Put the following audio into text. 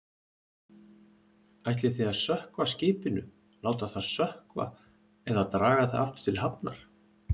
Ætlið þið að sökkva skipinu, láta það sökkva eða draga það aftur til hafnar?